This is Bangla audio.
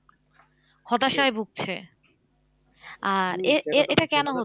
হতাশায় ভুগছে আর এ এ এটা কেন হচ্ছে?